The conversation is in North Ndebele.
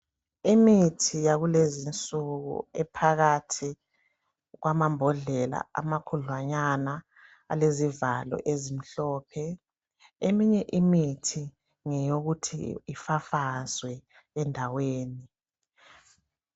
Imithi yakulezi insuku iphakathi kwamabhondlela amakhudlanyana alezivalo ezimhlomphe. Eminye imithi ngeyokuthi ifafazwe endaweni.